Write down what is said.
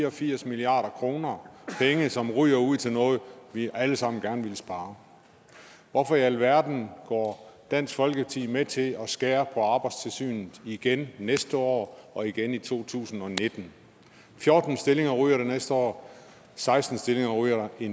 og firs milliard kr penge som ryger ud til noget vi alle sammen gerne ville spare hvorfor i alverden går dansk folkeparti med til at skære på arbejdstilsynet igen næste år og igen i 2019 fjorten stillinger ryger der næste år seksten stillinger ryger der i